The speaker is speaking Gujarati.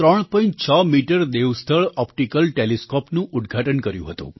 6 મીટર દેવસ્થળ ઑપ્ટિકલ ટેલિસ્કૉપનું ઉદઘાટન કર્યું હતું